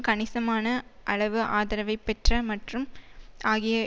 கணிசமான அளவு ஆதரவை பெற்ற மற்றும் ஆகிய